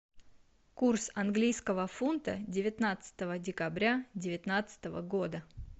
курс английского фунта девятнадцатого декабря девятнадцатого года